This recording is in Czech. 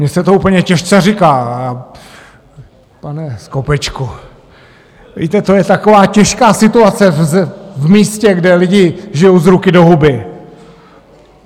Mně se to úplně těžce říká, pane Skopečku, víte, to je taková těžká situace v místě, kde lidi žijou z ruky do huby.